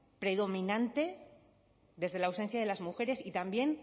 predominante desde la ausencia de las mujeres y también